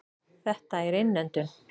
Þetta er innöndun.